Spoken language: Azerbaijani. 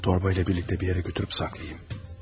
Digərlərini torba ilə birlikdə bir yerə götürüb saxlayım.